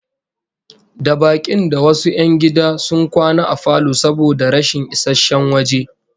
Da bakin da wasu 'yan gida sun kwana a falo saboda rashin isasshen waje